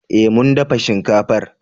Eh mun dafa shinkafar